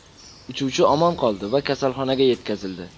Uchuvchi omon qoldi va kasalxonaga yetkazildi.